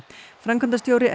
framkvæmdastjóri